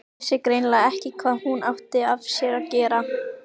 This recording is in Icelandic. Vissi greinilega ekki hvað hún átti af sér að gera.